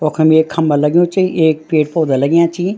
वखम एक खम्बा लग्युं च एक पेड़-पौधा लग्याँ छिं।